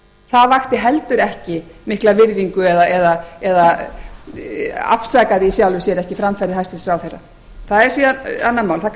það vakti heldur ekki mikla virðingu eða afsakaði í sjálfu sér ekki framferði hæstvirtur ráðherra það er síðan annað mál það